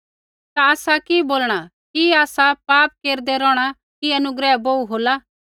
ता आसा कि बोलणा कि आसा पाप केरदै रोहणा कि अनुग्रह बोहू होला